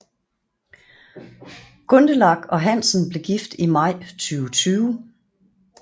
Gundelach og Hansen blev gift i maj 2020